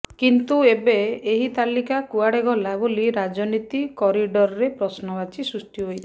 କିନ୍ତୁ ଏବେ ଏହି ତାଲିକା କୁଆଡ଼େ ଗଲା ବୋଲି ରାଜନୀତି କରିଡ଼ରରେ ପ୍ରଶ୍ନବାଚୀ ସୃଷ୍ଟି ହୋଇଛି